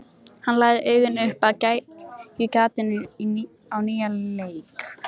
Hann lagði augun upp að gægjugatinu á nýjan leik.